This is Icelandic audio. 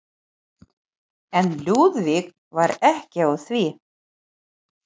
En Lúðvík var ekki á því.